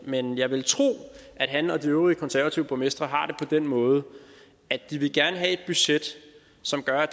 men jeg vil tro at han og de øvrige konservative borgmestre har det på den måde at de gerne vil have et budget som gør at